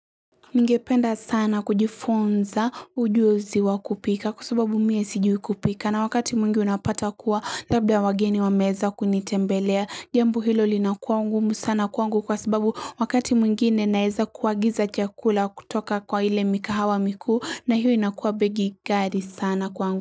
Ningependa sana kujifunza ujuzi wakupika kwa sababu mimi sijui kupika na wakati mwingi unapata kuwa labda wageni wameweza kunitembelea jambo hilo linakua ngumu sana kwangu kwa sababu wakati mwingine naweza kuagiza chakula kutoka kwa ile mikahawa mikuu na hiyo inakuwa begi kali sana kwangu.